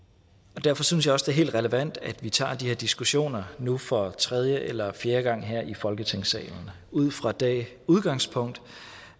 derfor synes jeg også helt relevant at vi tager de her diskussioner nu for tredje eller fjerde gang her i folketingssalen ud fra det udgangspunkt